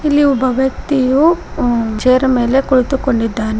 ಇಲ್ಲಿ ಒಬ್ಬ ವ್ಯಕ್ತಿಯು ಚೇರ್ ಮೇಲೆ ಕುಳಿತುಕೊಂಡಿದ್ದಾನೇ.